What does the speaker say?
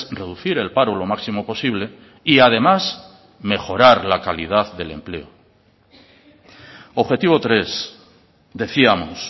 reducir el paro lo máximo posible y además mejorar la calidad del empleo objetivo tres decíamos